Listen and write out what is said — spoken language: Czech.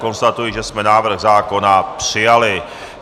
Konstatuji, že jsme návrh zákona přijali.